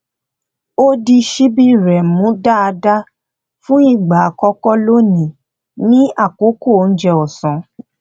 ó di ṣíbí rẹ mú dáadáa fún ìgbà àkọkọ lónìí ní àkókò oúnjẹ ọsán